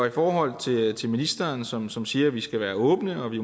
i forhold til ministeren som som siger at vi skal være åbne og at vi